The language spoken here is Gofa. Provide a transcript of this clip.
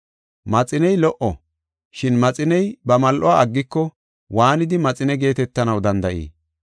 “Maxiney lo77o, shin maxiney ba mal7uwa aggiko, waanidi maxine geetetanaw danda7ii?